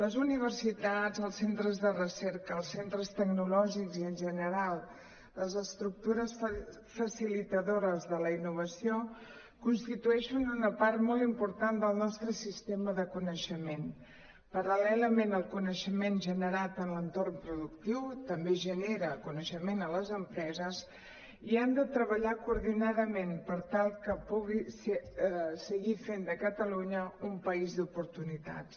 les universitats els centres de recerca els centres tecnològics i en general les estructures facilitadores de la innovació constitueixen una part molt important del nostre sistema de coneixement paral·lelament al coneixement generat en l’entorn pro·ductiu també genera coneixement a les empreses i han de treballar coordinadament per tal que puguin seguir fent de catalunya un país d’oportunitats